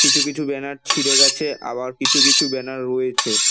কিছু কিছু ব্যানার ছিড়ে গেছে আবার কিছু কিছু ব্যানার রয়েছে ।